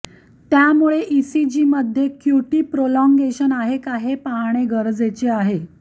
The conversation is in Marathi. त्यामुळे ईसीजीमध्ये क्यूटी प्रोलॉगेंशन आहे का हे पाहणे गरजेचे आहे